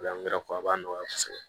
O la n yɛrɛ fɔ a b'a nɔgɔya kosɛbɛ